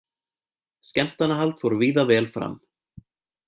Skemmtanahald fór víða vel fram